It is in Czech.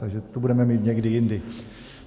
Takže tu budeme mít někdy jindy.